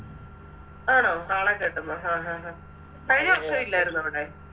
ആണോ കാളെ കെട്ടുന്നോ ആഹ് ആഹ് അഹ് കഴിഞ്ഞ വർഷം ഇല്ലാരുന്നോ അവിടെ